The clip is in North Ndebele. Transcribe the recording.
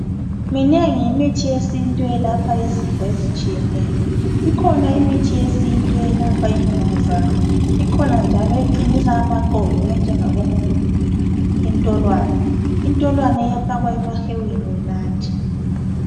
Minengi imithi yesintu elapha izifo ezitshiyeneyo. Ikhona imithi yesintu eyelapha imvukuzane, ikhona njalo eqinisa amaqolo enjengabo mgugudu, intolwane. Intolwane iyafakwa emahewini unathe.